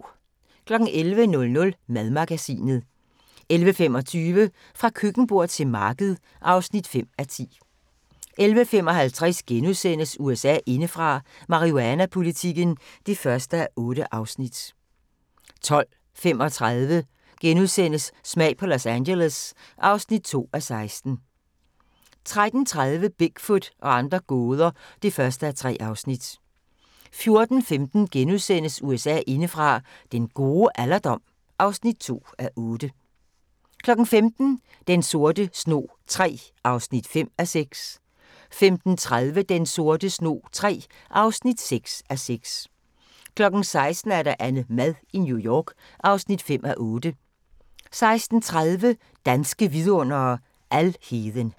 11:00: Madmagasinet 11:25: Fra køkkenbord til marked (5:10) 11:55: USA indefra: Marihuanapolitikken (1:8)* 12:35: Smag på Los Angeles (2:16)* 13:30: Bigfoot og andre gåder (1:3) 14:15: USA indefra: Den gode alderdom (2:8)* 15:00: Den sorte snog III (5:6) 15:30: Den sorte snog III (6:6) 16:00: AnneMad i New York (5:8) 16:30: Danske Vidundere: Alheden